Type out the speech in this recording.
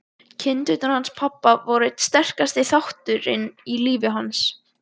Kindurnar hans pabba voru einn sterkasti þátturinn í lífi hans.